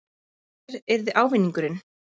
En hver yrði ávinningurinn?